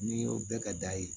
N'i y'o bɛɛ kɛ da ye